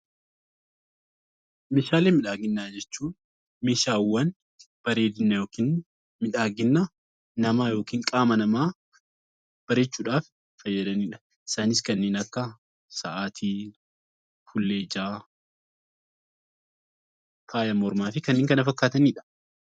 Meeshaalee miidhaginaa jechuun meeshaawwan bareedina yookaan miidhagina yookiin qaama namaa bareechuudhaaf fayyadanidha. Isaanis kanneen akka Saatii, fuullee ijaa, faaya mormaa fi kanneen kana fakkaatanidha.